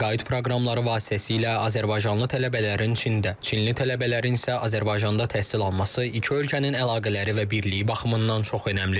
Təqaüd proqramları vasitəsilə azərbaycanlı tələbələrin Çində, Çinli tələbələrin isə Azərbaycanda təhsil alması iki ölkənin əlaqələri və birliyi baxımından çox önəmlidir.